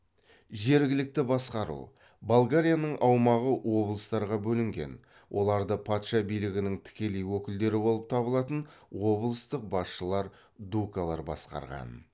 жергілікті басқару болгарияның аумағы облыстарға бөлінген оларды патша билігінің тікелей өкілдері болып табылатын облыстық басшылар дукалар басқарған